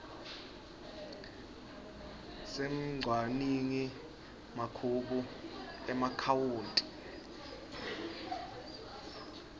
semcwaningi mabhuku emaakhawunti